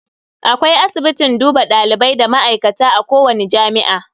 Akwai asibitin duba dalibai da ma'aikata a kowani jami'a.